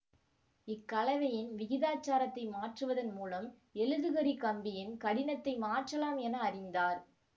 இக்கலவையின் விகிதாச்சாரத்தை மாற்றுவதன் மூலம் எழுதுகரிக் கம்பியின் கடினத்தை மாற்றலாம் என அறிந்தார்